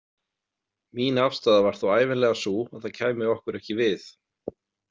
Mín afstaða var þó ævinlega sú að það kæmi okkur ekki við.